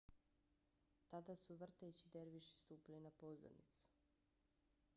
tada su vrteći derviši stupili na pozornicu